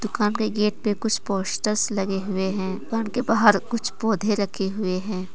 दुकान के गेट पे कुछ पोस्टर्स लगे हुए हैं दुकान के बाहर कुछ पौधे रखे हुए हैं।